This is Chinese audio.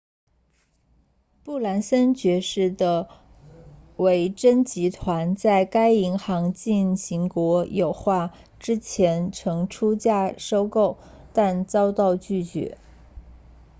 布兰森爵士 sir richard branson 的维珍集团 virgin group 在该银行进行国有化之前曾出价收购但遭到拒绝